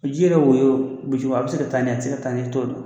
Ji yɛrɛ woyo bujuba a be se ka taa n'a ye, a te se ka taa n'a ye i t'o dɔn.